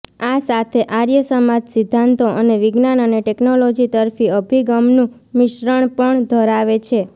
આ સાથે આર્ય સમાજ સિદ્ધાંતો અને વિજ્ઞાન અને ટેક્નોલોજી તરફી અભિગમનું મિશ્રણ પણ ધરાવે છે